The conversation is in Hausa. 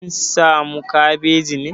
Kin samu kabeji ne?